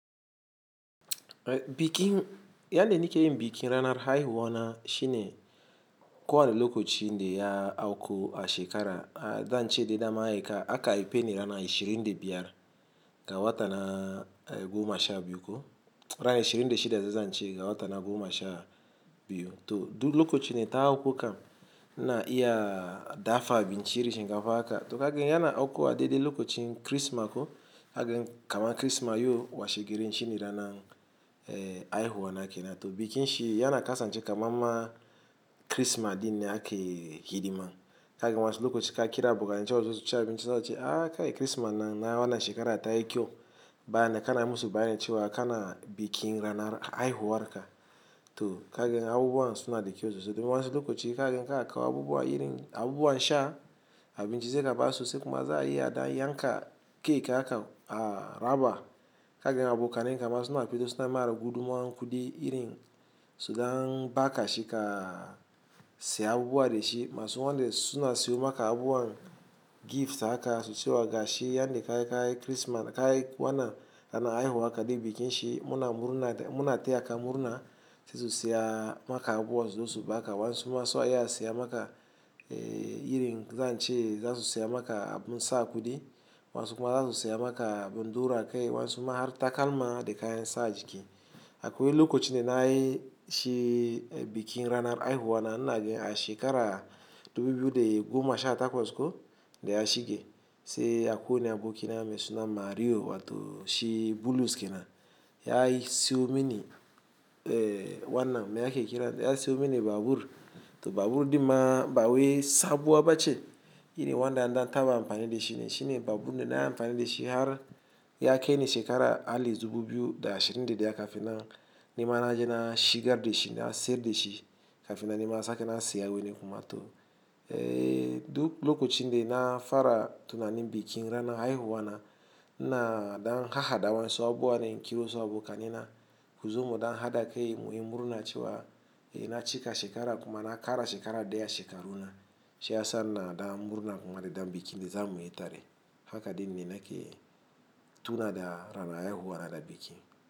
Bikin, yande nike yin bikin ranar haihuwa shine ko wanne lokacin de ya auku a shekara, zan ce da dama aka aipeni rana ashirin da biyar ga wata na goma sha biyu ko ran ashirin da shida zai zan ce ga wata na goma sha biyu. To duk lokacin da ta auku kam na iya dafa abinci irin shinkafa haka. To kagen yana auku a daidai lokacin Kirsima ko, kagen kama Kirsima yau washe garin shine rana aihuwa nake na. To bikin shi yana kasance kamar ma Kirsima dinne ake hidima. Kaganl wasu lokaci ka kira ka bikaci cewa sosai sha bincike cewa ci a ka yi Kirsima na yana shekara ta yi kyau. Bayannan kana musu bayanin cewa kana bikin ranar aihuwa haka. To kaga abubuwan suna da kyau sosai. Don wasu lokaci kagan ka kawo abubuwa irin abubuwa sha abici sai ka ba su sai kuma za a iya dan yanka cake haka a raba. Kagen abokanen kama suna fitosl suna ma guduman kudi irin su dan baka shi ka siya abubuwa da shi. Masu wanda suna siyo maka abubuwan gift haka su cewa ga shi yanda ka yi Kirsimas ka yi wana kana aihuwa haka da bikin shi muna murna ta muna tayaka murna. Sasu siya maka abubuwa so zo su ba baka wansu ma suna iya siya maka irin zan ce zasu siya maka abun sa kudi wansu kuma zasu siya maka abun ɗora kai wansu ma har takalma da kayan sa a jiki. Akwai lokacin de na yi shi bikin ranar aihuwa na naga a shekara dubu biyu da goma sha takwas ko da ya shige sai akwai ne abokina me suna Mario wato shi bulus kenan Ya siyo mini wannan me ake kira da ya siyo mini babur. To babur dinnan ba wai sabuwa ba ce irin wanda an dan taba amfani da shi ne. Shine babur nan na amfani da shi har ya kai ni shekara atleast dubu biyu da ashirin da daya kafin na nima naje na shigar da shi na siyar da shi kafin na nema sake na siya wani kuma. To duk lokacin de na fara tunanin bikin rana aihuwa na, ina dan haha da wa'yansu abubuwa ne in kirawo wasu abokanai na kuzo mi dan haɗa kai muyi murna cewa na cika shekara kuma na ƙara shekara da ya shekaruna. Shi ya sa ina dan murna kuma da dan bikin de za muyi tare haka din ne nake tuna da rana aihuwa na da biki.